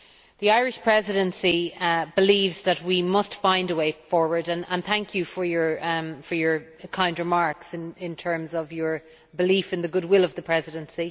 The Irish Presidency believes that we must find a way forward and thank you for your kind remarks in terms of your belief in the goodwill of the Presidency.